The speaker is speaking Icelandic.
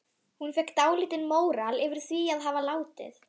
Hún fékk dálítinn móral yfir því að hafa látið